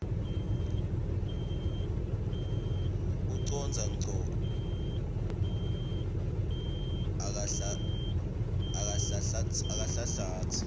ucondza ngco akanhlanhlatsi